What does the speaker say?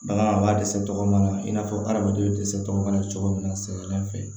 Bagan a b'a dɛsɛ tɔgɔmin na i n'a fɔ adamadenw bɛ dɛsɛ tɔgɔ min na cogo min na sɛbɛla fɛ